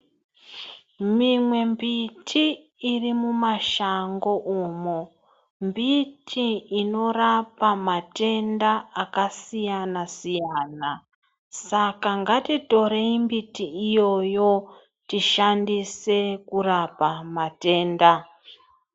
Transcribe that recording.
Mimwe mbiti iri mumashango umo, mbiti inorapa matenda akasiyana -siyana .saka ngatitorei mbiti iyoyo tishandise kurapa matenda.